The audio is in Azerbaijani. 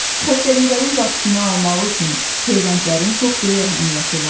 Xəstəliklərin qarşısını almaq üçün peyvəndlərin çox böyük əhəmiyyəti var.